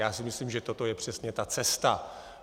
Já si myslím, že toto je přesně ta cesta.